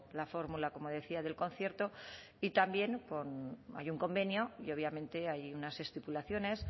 la fórmula como decía del concierto y también hay un convenio y obviamente hay unas estipulaciones